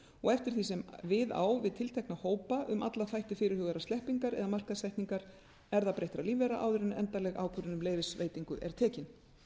og eftir því sem við á við tiltekna hópa um alla þætti fyrirhugaðrar sleppingar eða markaðssetningar erfðabreyttra lífvera áður en endanleg ákvörðun um leyfisveitingu er tekin